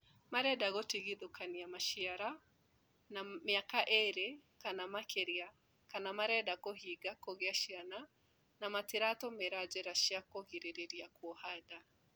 Marenda gũtigithũkania maciara na mĩaka ĩĩrĩ kana makĩria kana marenda kũhinga kũgĩa ciana na matiratũmĩra njĩra cia kũgirĩrĩria kuoha nda